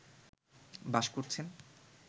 বাস করছেন